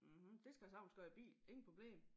Mhm det skal jeg sagtens gøre i bil ingen problem